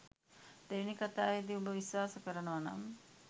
දෙවෙනි කතාවෙදි උඹ විශ්වාස කරනවා නම්